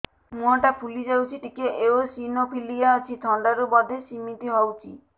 ମୁହଁ ଟା ଫୁଲି ଯାଉଛି ଟିକେ ଏଓସିନୋଫିଲିଆ ଅଛି ଥଣ୍ଡା ରୁ ବଧେ ସିମିତି ହଉଚି